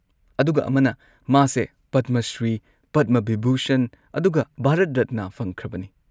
ꯑꯗꯨꯒ ꯑꯃꯅ, ꯃꯥꯁꯦ ꯄꯗꯃ ꯁ꯭ꯔꯤ, ꯄꯗꯃ ꯕꯤꯚꯨꯁꯟ ꯑꯗꯨꯒ ꯚꯥꯔꯠ ꯔꯠꯅꯥ ꯐꯪꯈ꯭ꯔꯕꯅꯤ꯫